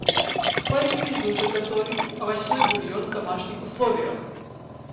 порекомендуй как готовить овощной бульон в домашних условиях